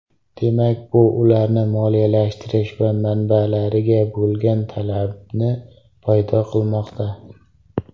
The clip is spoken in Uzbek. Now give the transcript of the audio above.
Demak, bu ularni moliyalashtirish manbalariga bo‘lgan talabni paydo qilmoqda.